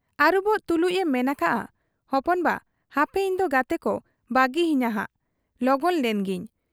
ᱟᱹᱨᱩᱵᱚᱜ ᱛᱩᱞᱩᱡ ᱮ ᱢᱮᱱ ᱟᱠᱟᱜ ᱟ, 'ᱦᱚᱯᱚᱱᱵᱟ ! ᱦᱟᱯᱮ ᱤᱧᱫᱚ ᱜᱟᱛᱮᱠᱚ ᱵᱟᱹᱜᱤ ᱟᱹᱧ ᱱᱷᱟᱜ, ᱞᱚᱜᱚᱱ ᱞᱮᱱ ᱜᱮᱧ ᱾'